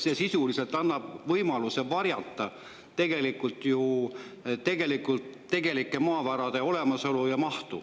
See sisuliselt annab võimaluse tegelikult varjata tegelike maavarade olemasolu ja mahtu.